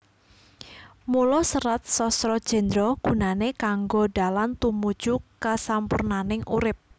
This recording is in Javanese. Mula Serat Sastra Jendra gunané kanggo dalan tumuju kasampurnaning urip